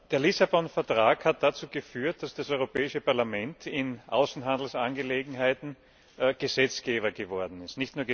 Der Lissabon Vertrag hat dazu geführt, dass das Europäische Parlament in Außenhandelsangelegenheiten Gesetzgeber geworden ist.